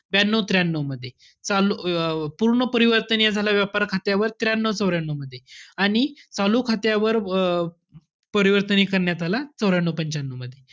ब्यानऊ-त्र्यानऊ मध्ये. चा~ अं पूर्ण परिवर्तनीय झाला व्यापार खात्यावर त्र्यानऊ-चौऱ्यानऊ मध्ये. आणि चालू खात्यावर अं परिवर्तनीय करण्यात आला चौऱ्यानऊ-पंच्यानऊ मध्ये.